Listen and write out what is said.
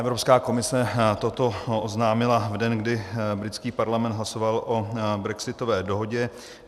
Evropská komise toto oznámila v den, kdy britský parlament hlasoval o brexitové dohodě.